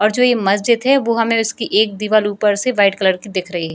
और जो मस्जिद है वो हमें उसकी एक दीवाल ऊपर से वाइट कलर की दिख रही।